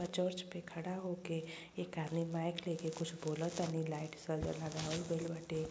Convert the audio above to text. Church पे खड़ा होके एक आदमी माइक लेकर कुछ बोलत तनी। लाइट सजा लगवाल गइल बाटे।